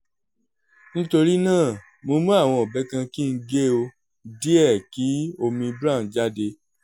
nitorinaa mo mu awọn ọbẹ kan ki n ge o diẹ ki omi brown jade